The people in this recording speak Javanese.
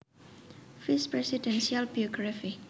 Vice Presidential biography